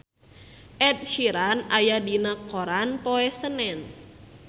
Ed Sheeran aya dina koran poe Senen